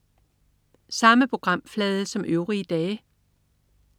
Samme programflade som øvrige dage